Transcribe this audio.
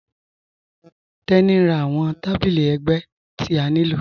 Tení n rá awọn tàbílí ẹgbẹ̀ ti a nilò.